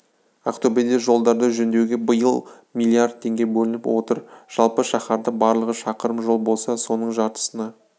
ақтөбеде жолдарды жөндеуге биыл млрд теңге бөлініп отыр жалпы шаһарда барлығы шақырым жол болса соның жартысына